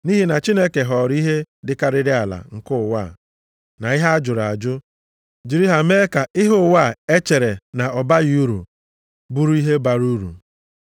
Nʼihi na Chineke họọrọ ihe dịkarịrị ala nke ụwa, na ihe a jụrụ ajụ, jiri ha mee ka ihe ụwa chere na ọ baghị uru, bụrụ ihe bara uru.